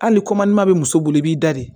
Hali ma muso bolo i b'i da de